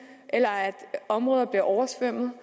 eller områder blev oversvømmet